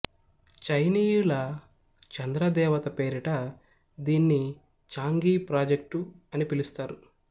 చైనీయుల చంద్ర దేవత పేరిట దీన్ని చాంగి ప్రాజెక్టు అని పిలుస్తారు